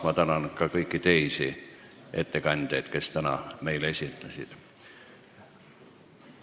Ma tänan ka kõiki teisi ettekandjaid, kes meile täna esinesid!